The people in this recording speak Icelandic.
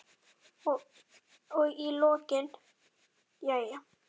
Og í lokin: Jæja.